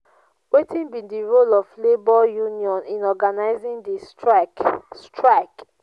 wetin be di role of labor union in organizing di strike? strike?